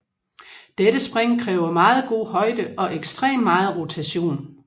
Dette spring kræver meget god højde og ekstrem meget rotation